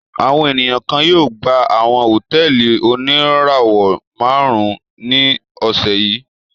Àwọn ènìyàn kan yóò gba àwọn hòtẹ́ẹ́lì oníràwọ̀-márùn-ún ní ọ̀sẹ̀ yìí.